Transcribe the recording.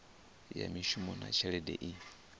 ya mishumo na tshelede i